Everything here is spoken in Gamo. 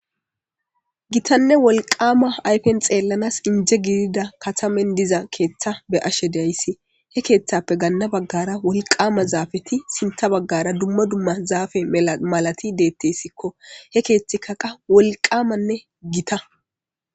Giitanee woliqqama ayipeni xilanas inje gidiza katamen diza ketha be7ashe da7ayis he kethape gana bagara woliqqama zapeti sinitha bagara duma duma zape malabati betesiko he kethayka qa woliqqamane gitta